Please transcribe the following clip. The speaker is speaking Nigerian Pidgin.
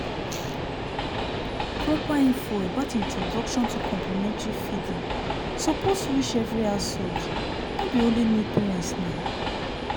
proper info about introduction to complimentary feeding suppose reach every household no be only new parents nau